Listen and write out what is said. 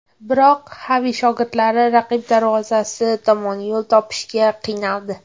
Biroq Xavi shogirdlari raqib darvozasi tomon yo‘l topishga qiynaldi.